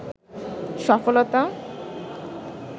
সফলতা